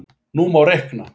Nú má reikna: